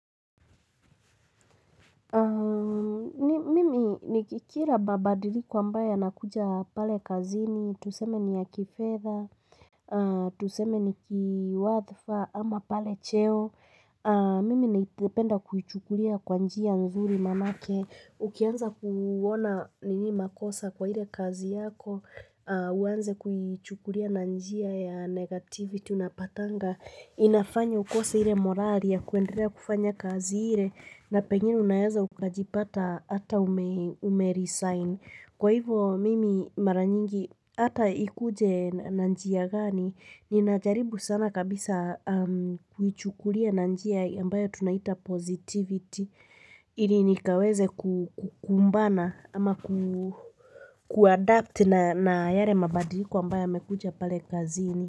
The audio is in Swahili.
Nikikira mababdiliko ambayo yanakuja pale kazini, tuseme ni ya kifedha, tuseme ni kiwadhfa ama pale cheo Mimi naipenda kuichukulia kwa njia nzuri manake. Ukianza kuona ni nini makosa kwa ile kazi yako, uanze kuichukila na njia ya negativity unapatanga inafanya ukose ile morale ya kuendelea kufanya kazi ile na pengine unaweza ukujipata ata ume ume-resign. Kwa hivyo mimi mara nyingi ata ikuje na njia gani. Ninajaribu sana kabisa kuichukulia na njia ambayo tunaita positivity. Ili nikaweze ku kukumbana ama kuadapt na yale mabadiliko ambayo yamekuja pale kazini.